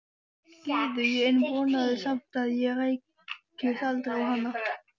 Gyðu en vonaði samt að ég rækist aldrei á hana.